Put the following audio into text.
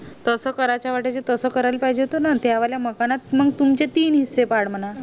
तसं करायच्या वाटायला तस करायला पाहिजे होत ना त्यावाल्या मकानात तुमचे तीन हिस्से पाड मना